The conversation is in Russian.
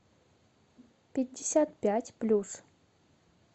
пятьдесят пять плюс